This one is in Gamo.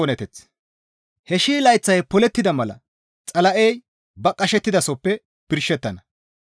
He shii layththay polettida mala Xala7ey ba qashettidasoppe birshettana.